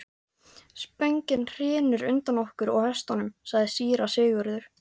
Spöngin hrynur undan okkur og hestunum, sagði síra Sigurður.